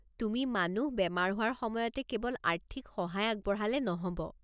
তুমি মানুহ বেমাৰ হোৱাৰ সময়তে কেৱল আৰ্থিক সহায় আগবঢ়ালে নহ'ব।